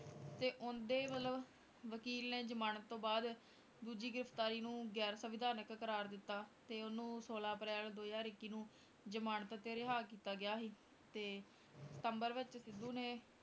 ਤੇ ਉਹਦੇ ਮਤਲਬ ਵਕੀਲ ਨੇ ਜਮਾਨਤ ਤੋਂ ਬਾਅਦ ਦੂਜੀ ਗ੍ਰਿਫ਼ਤਾਰੀ ਨੂੰ ਗੈਰ ਸਵਿਧਾਨਕ ਕਰਾਰ ਦਿੱਤਾ ਤੇ ਉਹਨੂੰ ਛੋਲਾਂ ਅਪ੍ਰੈਲ ਦੋ ਹਜ਼ਾਰ ਇੱਕੀ ਨੂੰ ਜਮਾਨਤ ਤੇ ਰਿਹਾ ਕੀਤਾ ਗਿਆ ਸੀ, ਤੇ ਸਤੰਬਰ ਵਿੱਚ ਸਿੱਧੂ ਨੇ,